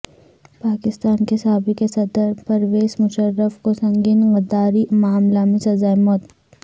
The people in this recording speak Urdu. پاکستان کے سابق صدر پرویز مشرف کو سنگین غداری معاملہ میں سزائے موت